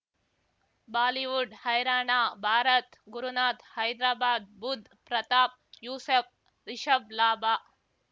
Bollywood ಹೈರಾಣ ಭಾರತ್ ಗುರುನಾಥ್ ಹೈದ್ರಾಬಾದ್ ಬುಧ್ ಪ್ರತಾಪ್ ಯೂಸಫ್ ರಿಷಬ್ ಲಾಭ